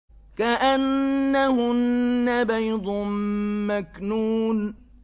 كَأَنَّهُنَّ بَيْضٌ مَّكْنُونٌ